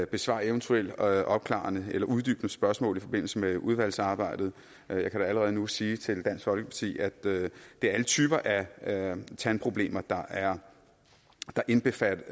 besvare eventuelle opklarende eller uddybende spørgsmål i forbindelse med udvalgsarbejdet jeg kan da allerede nu sige til dansk folkeparti at det er alle typer af tandproblemer der er indbefattet